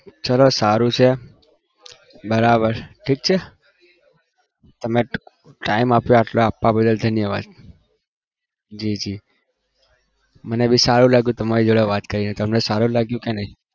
ચલો સારું છે બરાબર ઠીક છે તમે time આપ્યો આટલો. આપવા બદલ ધન્યવાદ જી જી મને બી સારું લાગ્યું તમારી જોડે વાત કરીને તમને સારું લાગ્યું કે નહિ?